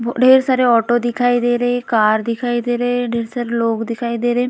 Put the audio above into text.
ब-अ ढेर सारे ऑटो दिखाई दे रहे है कार दिखाई दे रहे है ढेर सारे लोग दिखाई दे रहे है।